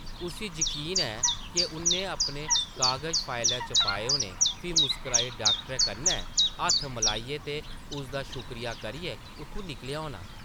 उस्सी यकीन ऐ’क उʼन्नै अपने कागज फाइला च पाए होने, फ्ही मुस्कराइयै डाक्टरै कन्नै हत्थ मलाइयै ते उसदा शुक्रिया करियै उत्थूं निकलेआ होना ।